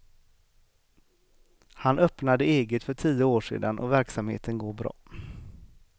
Han öppnade eget för tio år sedan och verksamheten går bra.